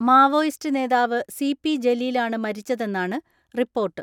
Maoist നേതാവ് C P ജലീലാണ് മരിച്ചതെന്നാണ് റിപ്പോർട്ട്.